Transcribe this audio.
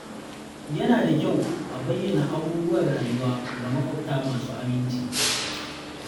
Yana da kyau a bayyana abubuwan rayuwa ga maƙwabta masu aminci.